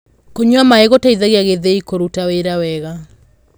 kũnyua maĩ gũteithagia githii kũrũta wĩra wega